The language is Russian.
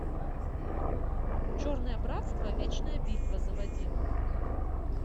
черное братство вечная битва заводи